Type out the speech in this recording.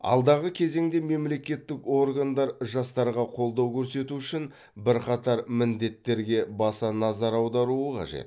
алдағы кезеңде мемлекеттік органдар жастарға қолдау көрсету үшін бірқатар міндеттерге баса назар аударуы қажет